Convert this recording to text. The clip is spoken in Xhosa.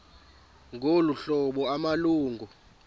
ngolu hlobo amalungu